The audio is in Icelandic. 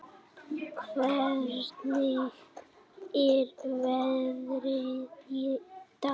Hvernig er veðrið í dag?